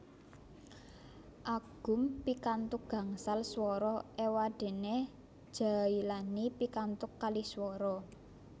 Agum pikantuk gangsal swara éwadéné Djailani pikantuk kalih swara